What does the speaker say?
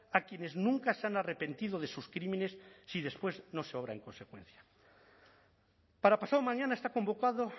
a quienes nunca se han arrepentido de sus crímenes si después no se obra en consecuencia para pasado mañana está convocado